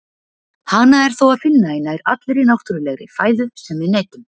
Hana er þó að finna í nær allri náttúrulegri fæðu sem við neytum.